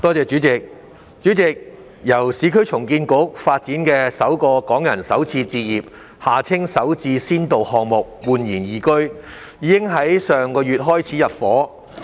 主席，由市區重建局發展的首個港人首次置業先導項目―煥然懿居，已於上月開始入伙。